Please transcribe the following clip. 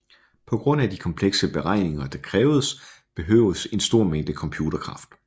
På grund af de komplekse beregninger der kræves behøves en stor mængde computerkraft